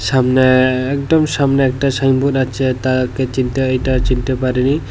সামনে একদম সামনে একটা সাইনবোর্ড আছে তাকে চিনতে ওইটা চিনতে পারিনি।